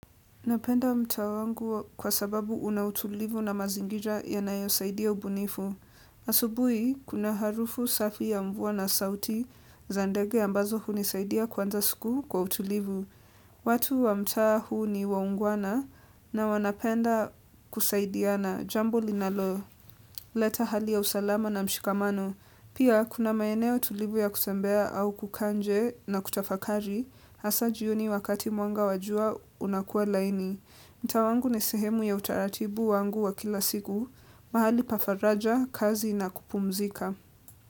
Napenda mtaa wangu kwa sababu unautulivu na mazingira yanayo saidia ubunifu. Asubuhi, kuna harufu safi ya mvua na sauti za ndege ambazo hunisaidia kuanza siku kwa utulivu. Watu wa mtaa huu ni waungwana na wanapenda kusaidiana, jambo linalo, leta hali ya usalama na mshikamano. Pia, kuna maeneo utulivu ya kutembea au kukaa nje na kutafakari, hasa jioni wakati mwanga wajua unakuwa laini. Mtaa wangu ni sehemu ya utaratibu wangu wa kila siku, mahali pa faraja, kazi na kupumzika.